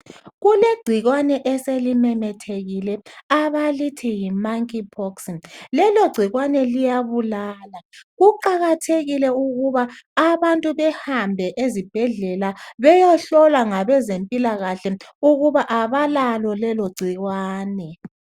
Kulegcikwane eselimemethekile abalithi yiMonkey pox, lelo gcikwane liyabulala. Kuqakathekile ukuba abantu behambe ezibhedlela beyehlolwa ngabezempilakahle ukuba abalalo lelo gcikwane.